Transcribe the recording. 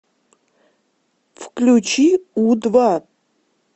включи у два